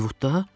Hollivudda?